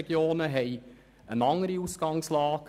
Diese haben eine andere Ausgangslage: